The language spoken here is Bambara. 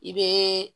I bɛ